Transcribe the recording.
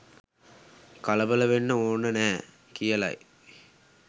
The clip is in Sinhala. කලබල වෙන්න ඕන නෑ කියල යි.